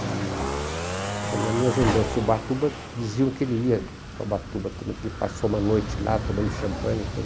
E, nas minhas lembranças de Ubatuba diziam que ele ia para o Ubatuba também, que ele passou uma noite lá tomando champanhe e tudo.